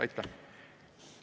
Aitäh!